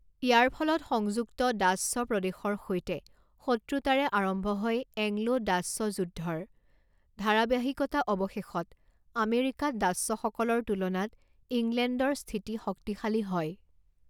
ইয়াৰ ফলত সংযুক্ত ডাচ্চ প্ৰদেশৰ সৈতে শত্ৰুতাৰে আৰম্ভ হয় এংলো-ডাচ্চ যুদ্ধৰ ধাৰাবাহিকতা অৱশেষত আমেৰিকাত ডাচ্চসকলৰ তুলনাত ইংলেণ্ডৰ স্থিতি শক্তিশালী হয়।